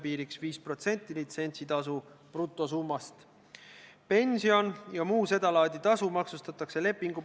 Teine on see, et kaks nädalat tagasi käis majandusminister komisjonis, kus ta selgitas, miks oleks vaja see raudteed puudutav täiendus seadusesse sisse tuua.